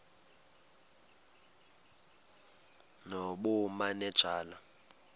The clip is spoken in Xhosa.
nobumanejala